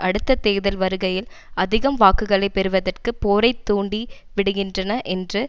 அடுத்த தேர்தல் வருகையில் அதிகம் வாக்குகளை பெறுவதற்கு போரை தூண்டி விடுகின்றனர் என்று